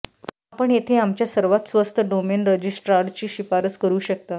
आपण येथे आमच्या सर्वात स्वस्त डोमेन रेजिस्ट्रारची शिफारस करू शकता